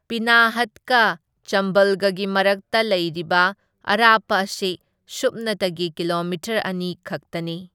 ꯄꯤꯅꯥꯍꯠꯀ ꯆꯝꯕꯜꯒꯒꯤ ꯃꯔꯛꯇ ꯂꯩꯔꯤꯕ ꯑꯔꯥꯞꯄ ꯑꯁꯤ ꯁꯨꯞꯅꯇꯒꯤ ꯀꯤꯂꯣꯃꯤꯇꯔ ꯑꯅꯤ ꯈꯛꯇꯅꯤ꯫